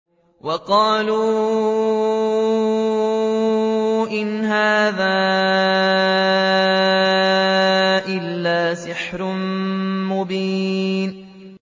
وَقَالُوا إِنْ هَٰذَا إِلَّا سِحْرٌ مُّبِينٌ